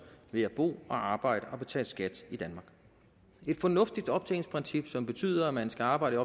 ved at bo og arbejde og betale skat i danmark et fornuftigt optjeningsprincip som betyder at man skal arbejde